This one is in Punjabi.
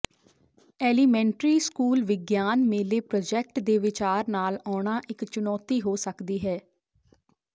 ਐਲੀਮੈਂਟਰੀ ਸਕੂਲ ਵਿਗਿਆਨ ਮੇਲੇ ਪ੍ਰੋਜੈਕਟ ਦੇ ਵਿਚਾਰ ਨਾਲ ਆਉਣਾ ਇੱਕ ਚੁਣੌਤੀ ਹੋ ਸਕਦੀ ਹੈ